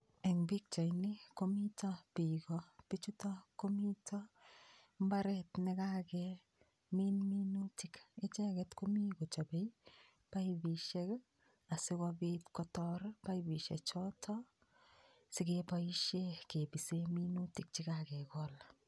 En pichaini komiton bik ko bichutok komito imbaret nekakemin minutik icheket komii kochobe baibushek asikobik kotor baibushek choton sikeboishen kibisen minutik chekakekol.